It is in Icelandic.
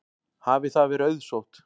Hafi það verið auðsótt.